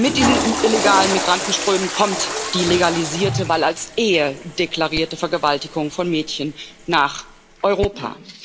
Mit diesen illegalen Migrantenströmen kommt die legalisierte, weil als Ehe deklarierte Vergewaltigung von Mädchen nach Europa.